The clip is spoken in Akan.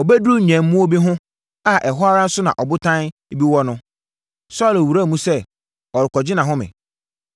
Ɔbɛduruu nnwammuo bi ho a ɛhɔ ara nso na ɔbodan bi wɔ no, Saulo wuraa mu sɛ, ɔrekɔgye nʼahome.